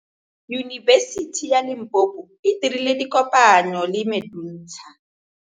Yunibesiti ya Limpopo e dirile kopanyô le MEDUNSA.